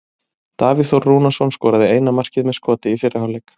Davíð Þór Rúnarsson skoraði eina markið með skoti í fyrri hálfleik.